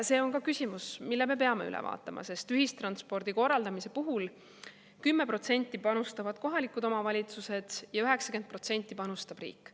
See on ka küsimus, mille me peame üle vaatama, sest ühistranspordi korraldamise puhul 10% panustavad kohalikud omavalitsused ja 90% panustab riik.